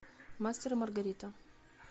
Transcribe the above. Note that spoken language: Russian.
мастер и маргарита